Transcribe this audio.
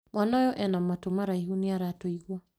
Mwana ũyũena matũmaraihu, niaratũigwa